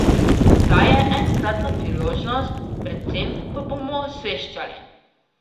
Zdaj je enkratna priložnost, predvsem pa bomo osveščali.